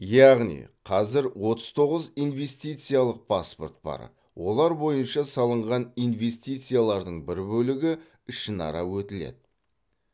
яғни қазір отыз тоғыз инвестициялық паспорт бар олар бойынша салынған инвестициялардың бір бөлігі ішінара өтіледі